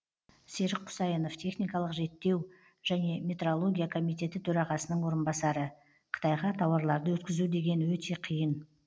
серік құсайынов техникалық реттеу және метрология комитеті төрағасының орынбасары қытайға тауарларды өткізу деген өте қиын